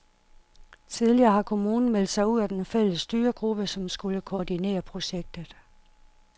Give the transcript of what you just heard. Tidligere har kommunen meldt sig ud af den fælles styregruppe, som skulle koordinere projektet.